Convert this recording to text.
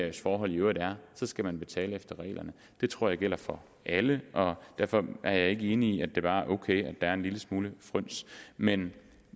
ens forhold i øvrigt er skal man betale efter reglerne det tror jeg gælder for alle og derfor er jeg ikke enig i at det bare er ok at er en lille smule fryns men